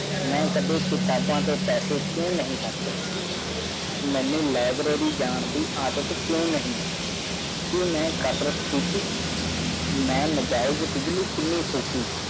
ਮੈ ਕਾਦੇ ਕਿਤਬਾ ਤੇ ਪੈਸੇ ਕਿਉ ਨਹੀ ਖਾਰਚੇ ਮੇਨੂ ਲਾਇਬ੍ਰੇਰੀ ਜਾਨ ਦੀ ਆਦਤ ਕਿਉਂ ਨਹੀਂ ਕਿ ਨਾ ਕਸਰਤ ਕੀਤੀ ਮੈਂ ਨਜਾਇਜ਼ ਬਿਜਲੀ ਕਿੰਨੀ ਫੁਕੀ